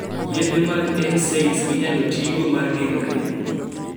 yedhe mag (NSAIDs) inyalo tigo mar geng'o rem